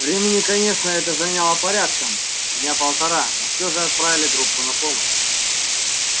времени конечно это заняло порядком дня полтора но все же отправили группу на помощь